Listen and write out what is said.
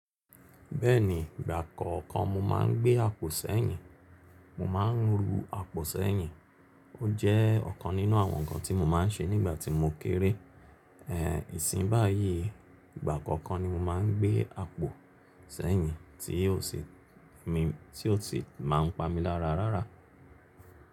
Bẹ́ẹ̀ni, ìgbà kọ̀ọ̀kan mo máa ń gbé àpò sẹ́yìn. Mo máa ń ru àpò sẹ́yìn. Ó jẹ́ ọ̀kan nínú àwọn nǹkan tí mo máa ń ṣe nígbà tí mo kéré. Ẹ̀ẹ̀, ìsìnyii báyii, ìgbà kọ̀ọ̀kan ni mo máa ń gbé àpò sẹ́yìn tí ò sì máa ń pa mi lára rárá.